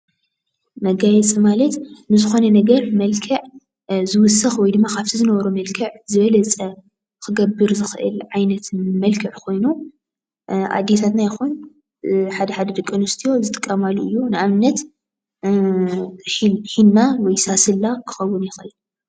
መጋየፂ ማለት ንዝኾነ ነገር መልክዕ ዝውስኽ ወይ ድማ ካብቲ ዝነበሮ መልክዕ ዝበልፀ ክገብር ዝኽእል ዓይነት መልክዕ ኮይኑ ኣዴታትና ይኹን ሓደ ሓደ ደቂኣንስትዮ ዝጥቀማሉ እዩ፡፡ ንኣብነት ሒና ወይ ሳስላ ክኸውን ይኽእል፡፡